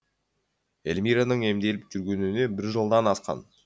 эльмираның емделіп жүргеніне бір жылдан асқан